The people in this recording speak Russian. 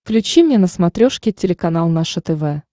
включи мне на смотрешке телеканал наше тв